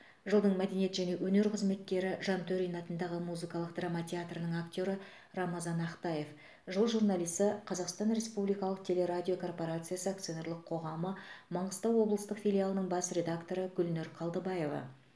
жылдың мәдениет және өнер қызметкері жантөрин атындағы музыкалық драма театрының актері рамазан ақтаев жыл журналисі қазақстан республикалық телерадио корпорациясы акционерлік қоғамы маңғыстау облыстық филиалының бас редакторы гүлнұр қалдыбаева